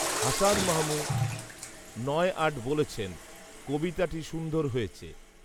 হাসান মাহমু নয় আট বলেছেন, কবিতাটি সুন্দর হয়েছে